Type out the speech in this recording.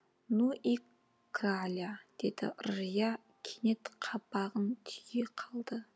ну и краля деді ыржия кенет қабағын түйе қалды